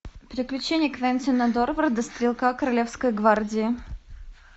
приключения квентина дорварда стрелка королевской гвардии